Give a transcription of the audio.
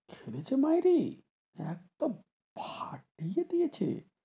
খেলেছি মাইরি, একদম ফাটিয়ে দিয়েছে,